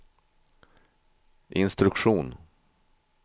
instruktion